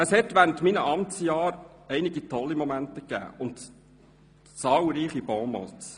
Es gab während meines Amtsjahres einige tolle Momente und zahlreiche Bonmots.